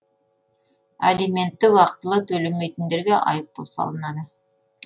алиментті уақытылы төлемейтіндерге айыппұл салынады